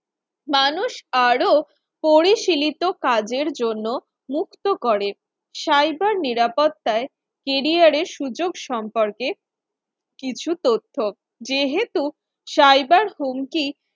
মানুষ আরো পরিসীলিত কাজের জন্য মুক্ত করে cyber নিরাপত্তায় career এর সুযোগ সম্পর্কে কিছু তথ্য যেহেতু cyber হুমকি